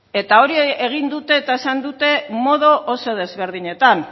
eta hori egin dute eta esan dute modu oso desberdinetan